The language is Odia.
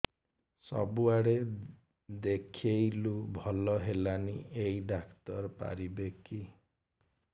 ସବୁଆଡେ ଦେଖେଇଲୁ ଭଲ ହେଲାନି ଏଇ ଡ଼ାକ୍ତର ପାରିବେ କି